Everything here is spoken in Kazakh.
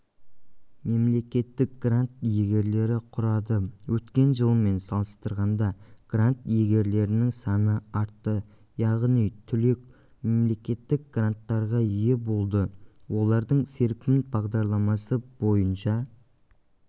мемлекеттік грант иегерлері құрады өткен жылмен салыстырғанда грант иегерлерінің саны артты яғни түлек мемлекеттік гранттарға ие болды олардың серпін бағдарламасы бойынша